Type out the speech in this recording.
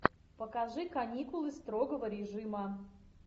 покажи каникулы строгого режима